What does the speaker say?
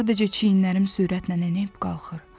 Sadəcə çiyinlərim sürətlə enib-qalxır.